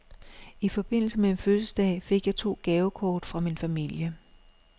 I forbindelse med min fødselsdag fik jeg to gavekort fra min familie.